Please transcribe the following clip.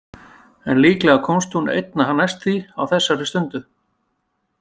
En líklega komst hún einna næst því á þessari stundu.